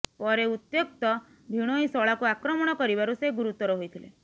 ପରେ ଉତ୍ତ୍ୟକ୍ତ ଭିଣୋଇ ଶଳାକୁ ଆକ୍ରମଣ କରିବାରୁ ସେ ଗୁରୁତର ହୋଇଥିଲେ